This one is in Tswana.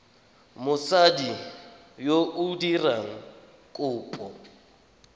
mosadi yo o dirang kopo